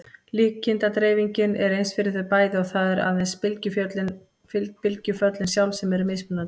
Líkindadreifingin er eins fyrir þau bæði og það eru aðeins bylgjuföllin sjálf sem eru mismunandi.